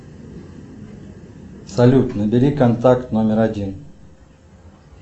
салют набери контакт номер один